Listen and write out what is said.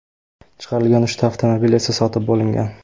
Chiqarilgan uchta avtomobil esa sotib bo‘lingan.